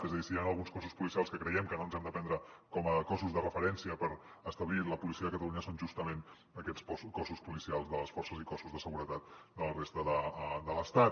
és a dir si hi han alguns cossos policials que creiem que no ens hem de prendre com a cossos de referència per establir la policia de catalunya són justament aquests cossos policials de les forces i cossos de seguretat de la resta de l’estat